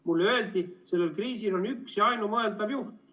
Mulle öeldi, et sellel kriisil on üks ja ainumõeldav juht.